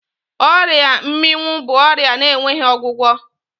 Ọrịa mmịnwụ bụ ọrịa na-enweghi ọgwụgwọ